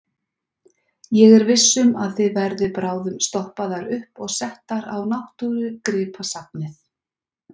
Ég er viss um að þið verðið bráðum stoppaðar upp og settar á Náttúrugripasafnið.